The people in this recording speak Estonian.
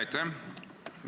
Aitäh!